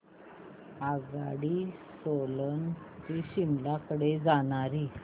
आगगाडी सोलन ते शिमला कडे जाणारी